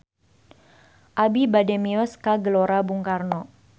Abi bade mios ka Gelora Bung Karno